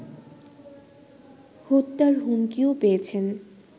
হত্যার হুমকিও পেয়েছেন